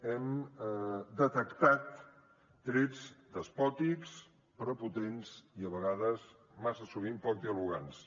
hem detectat trets despòtics prepotents i a vegades massa sovint poc dialogants